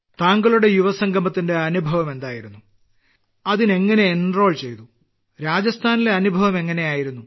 താങ്കളുടെ യുവസംഗമത്തിന്റെ അനുഭവം എന്തായിരുന്നു അതിൽ എങ്ങിനെ എൻറോൾ ചെയ്തു രാജസ്ഥാനിലെ അനുഭവം എങ്ങിനെയായിരുന്നു